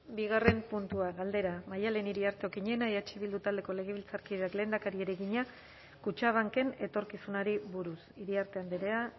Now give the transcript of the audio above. bigarren puntua galdera maddalen iriarte okiñena eh bildu taldeko legebiltzarkideak lehendakariari egina kutxabanken etorkizunari buruz iriarte andrea